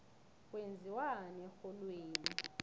kwenziwani erholweni